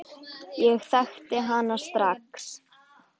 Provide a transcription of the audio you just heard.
Ég þekkti hana strax.